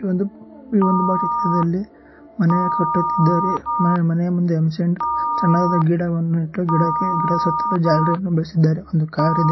ಈ ಒಂದು ಚಿತ್ರದಲ್ಲಿ ಮನೆ ಕಟ್ಟುತ್ತಿದ್ದಾರೆ ಮನೆ ಮುಂದೆಯೇ ಚೆನಾಗಿರುವ ಗಿಡ ನೆಟ್ಟು ಗಿಡದ ಜಾಲರಿ ಹಾಕಿದ್ ಒಂದು ಕಾರು ಇದೆ.